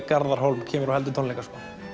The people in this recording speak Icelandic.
Garðar Hólm kemur og heldur tónleika